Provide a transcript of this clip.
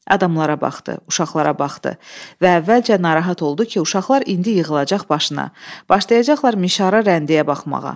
Adamlara baxdı, uşaqlara baxdı və əvvəlcə narahat oldu ki, uşaqlar indi yığılacaq başına, başlayacaqlar mişara rəndəyə baxmağa.